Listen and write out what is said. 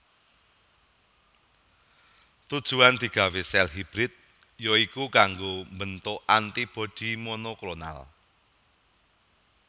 Tujuan digawé sèl hibrid ya iku kanggo mbentuk antibodi monoklonal